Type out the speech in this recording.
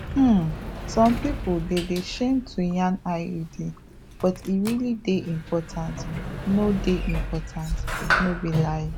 um some pipo dey de shame to yan iuds but e realli dey important no dey important no be lai